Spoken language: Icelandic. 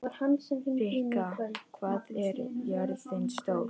Rikka, hvað er jörðin stór?